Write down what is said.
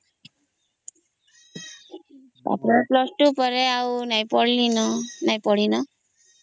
ଆଉ plus two ପରେ ଆଉ ନାଇଁ ପଢ଼ିଲି